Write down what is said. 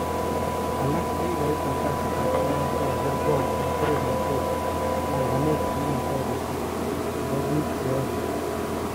Alak chekikait eng kasitab agwan kokager'ngok eng koromnotet panganet nemotoreti nebo bik cheyoe.